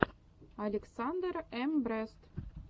александр эм брест